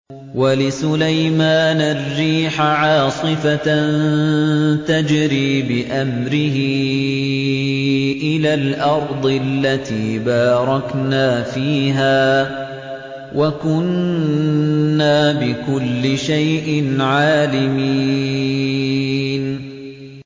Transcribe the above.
وَلِسُلَيْمَانَ الرِّيحَ عَاصِفَةً تَجْرِي بِأَمْرِهِ إِلَى الْأَرْضِ الَّتِي بَارَكْنَا فِيهَا ۚ وَكُنَّا بِكُلِّ شَيْءٍ عَالِمِينَ